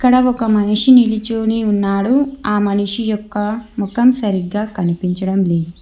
ఇక్కడ ఒక మనిషి నిలుచొని ఉన్నాడు ఆ మనిషి యొక్క ముఖం సరిగ్గా కనిపించడం లేదు.